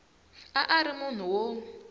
a a ri munhu wo